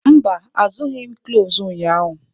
Mba, azụrụghị m cloves ụnyahụ.